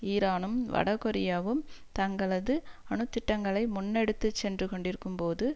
ஈரானும் வடகொரியாவும் தங்களது அணுத்திட்டங்களை முன்னெடுத்து சென்று கொண்டிருக்கும் போது